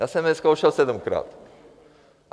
Já jsem je zkoušel sedmkrát.